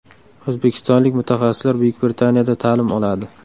O‘zbekistonlik mutaxassislar Buyuk Britaniyada ta’lim oladi.